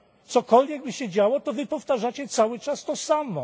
Cokolwiek by się działo, wy powtarzacie cały czas to samo.